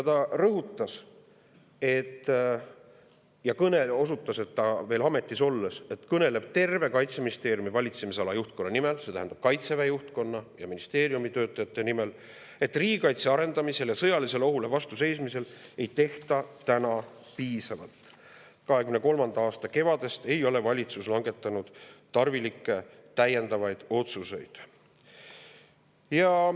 Ta rõhutas ja osutas veel ametis olles, et ta kõneleb terve Kaitseministeeriumi valitsemisala juhtkonna nimel, see tähendab Kaitseväe juhtkonna ja ministeeriumi töötajate nimel, et riigikaitse arendamiseks ja sõjalisele ohule vastu seismiseks ei tehta piisavalt, 2023. aasta kevadest ei ole valitsus langetanud tarvilikke täiendavaid otsuseid.